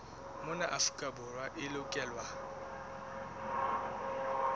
mona afrika borwa e lokelwa